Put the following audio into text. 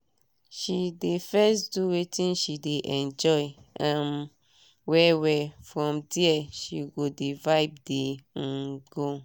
she dey first do wetin she dey enjoy um well well from dia she go dey vibe dey um go